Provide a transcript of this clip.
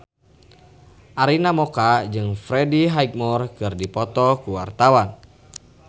Arina Mocca jeung Freddie Highmore keur dipoto ku wartawan